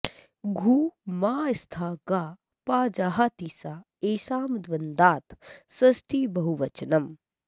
घु मा स्था गा पा जहाति सा एषां द्वन्द्वात् षष्ठीबहवनचम्